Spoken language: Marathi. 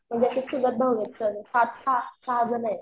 म्हणजे असे चुलत भाऊ आहेत सगळे पाच सहा जण आहेत.